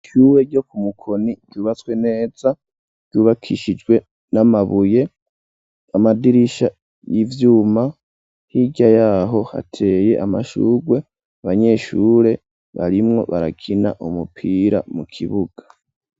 Ishure ryo ku Mukoni ryubatswe neza, ryubakishijwe n'amabuye, amadirisha y'ivyuma, hirya yaho hateye amashurwe, abanyeshure barimwo barakina umupira mu kibuga.